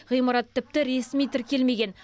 ғимарат тіпті ресми тіркелмеген